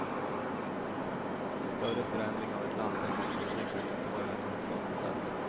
En större förändring av ett lands säkerhetspolitik bör inte vara en utdragen process.